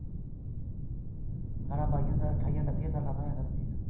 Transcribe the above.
ਠਾਰਾ ਵਾਈਆ ਦਾ ਠਾਰਾ ਅਨੱਤੀਆਂ ਸਾਲਾ ਦਾ